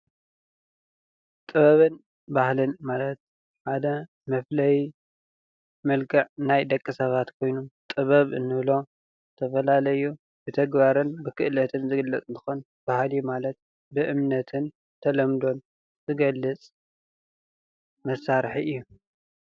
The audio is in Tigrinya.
ጥበብን ባህልን ማለት ሓደ መፍለይ መልክዕ ናይ ደቂ ሰባት ኮይኑ ጥበብ እንብሎ ዝተፈለለዩ ብተግባርን ብክእለት ዝግለፅ እንትኮን ባህሊ ማለት ብእምነትን ተለምዶን ዝገልፅ መሳርሒ እዩ፡፡